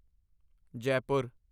Jaipur